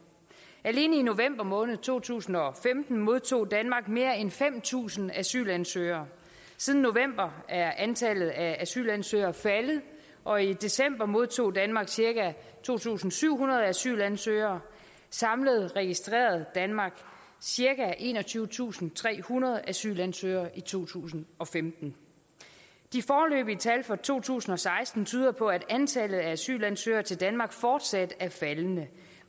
alene i november måned to tusind og femten modtog danmark mere end fem tusind asylansøgere siden november er antallet af asylansøgere faldet og i december modtog danmark cirka to tusind syv hundrede asylansøgere samlet registrerede danmark cirka enogtyvetusinde og trehundrede asylansøgere i to tusind og femten de foreløbige tal for to tusind og seksten tyder på at antallet af asylansøgere til danmark fortsat er faldende